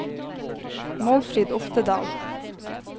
Målfrid Oftedal